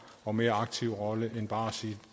og mere aktiv rolle end bare at sige